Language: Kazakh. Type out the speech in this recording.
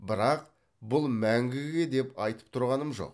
бірақ бұл мәңгіге деп айтып тұрғаным жоқ